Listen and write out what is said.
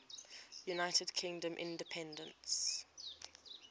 united kingdom independence